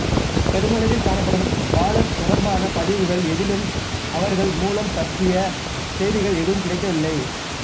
பெருமளவில் காணப்படும் பாலர் தொடர்பான பதிவுகள் எதிலும் அவர்கள் மூலம் பற்றிய செய்திகள் எதுவும் கிடைக்கவில்லை